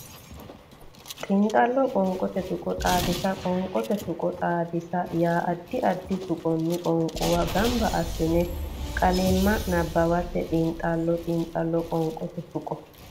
Xiinxallo Qoonqote Tuqqo Xaadisa Qoonqote tuqqo xaadisa yaa addi addi tuqqonni qoonquwa gamba assine qaalimma nabbawate Xiinxallo Xiinxallo Qoonqote Tuqqo.